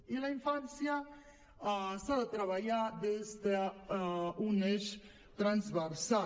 i la infància s’ha de treballar des d’un eix transversal